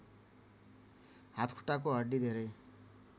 हातखुट्टाको हड्डी धेरै